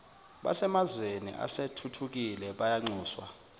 basemazweni asethuthukile bayanxuswa